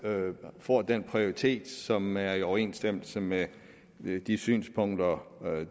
får en prioritet som er i overensstemmelse med de synspunkter